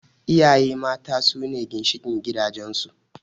Iyaye mata sune ginshiƙin gidajen su